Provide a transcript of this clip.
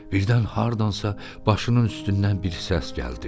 Birdən hardansa başının üstündən bir səs gəldi.